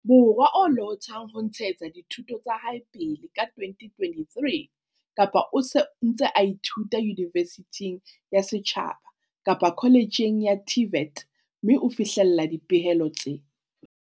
Borwa a lohothang ho ntshetsa dithuto tsa hae pele ka 2023 kapa o se o ntse o ithuta yunivesithing ya setjhaba kapa koletjheng ya TVET mme o fihlella dipehelo tse